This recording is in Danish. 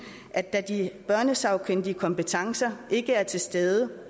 at de børnesagkyndige kompetencer ikke er til stede